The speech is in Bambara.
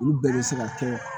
Olu bɛɛ bɛ se ka kɛ